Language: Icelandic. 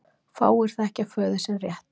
Fáir þekkja föður sinn rétt.